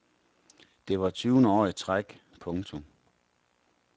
Det var tyvende år i træk. punktum